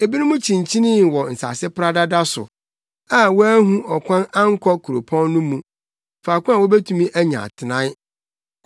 Ebinom kyinkyinii wɔ nsase pradada so, a wɔanhu ɔkwan ankɔ kuropɔn no mu, faako a wobetumi anya atenae.